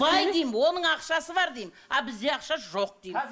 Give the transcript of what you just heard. бай деймін оның ақшасы бар деймін а бізде ақша жоқ деймін